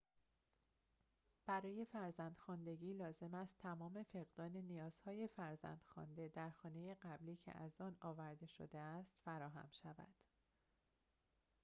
برای فرزند‌خواندگی لازم است تمام فقدان نیازهای فرزند‌خوانده در خانه قبلی که از آن آورده شده است فراهم شود